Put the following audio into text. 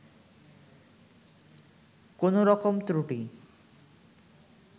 কোন রকম ত্রুটি